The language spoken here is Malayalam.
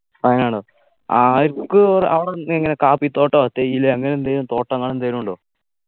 വയനാടോ ആയക്ക് അവിടെ എന്തെങ്ങന കാപ്പിത്തോട്ടോ തേയിലയോ അങ്ങനെ എന്തേലും തോട്ടങ്ങൾ എന്തേലും ഉണ്ടോ